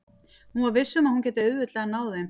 Hún var viss um að hún gæti auðveldlega náð þeim.